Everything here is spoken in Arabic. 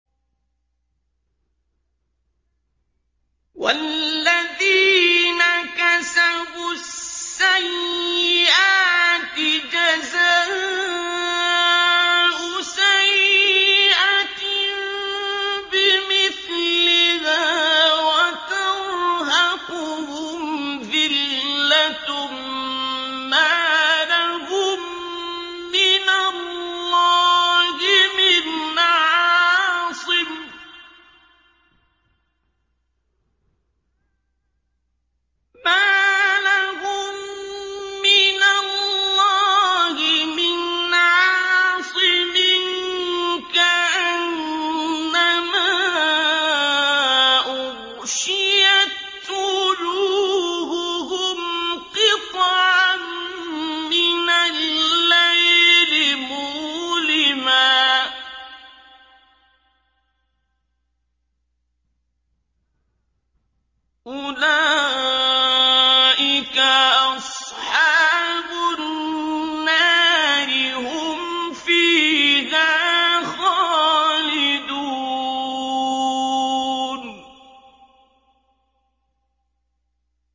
وَالَّذِينَ كَسَبُوا السَّيِّئَاتِ جَزَاءُ سَيِّئَةٍ بِمِثْلِهَا وَتَرْهَقُهُمْ ذِلَّةٌ ۖ مَّا لَهُم مِّنَ اللَّهِ مِنْ عَاصِمٍ ۖ كَأَنَّمَا أُغْشِيَتْ وُجُوهُهُمْ قِطَعًا مِّنَ اللَّيْلِ مُظْلِمًا ۚ أُولَٰئِكَ أَصْحَابُ النَّارِ ۖ هُمْ فِيهَا خَالِدُونَ